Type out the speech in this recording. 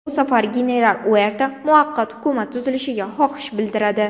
Bu safar general Uerta muvaqqat hukumat tuzilishiga xohish bildiradi.